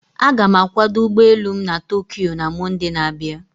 Aga m akwado ụgbọ elu m na Tokyo na Mọnde na-abịa.